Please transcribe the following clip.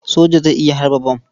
Soja zai iya harba bam.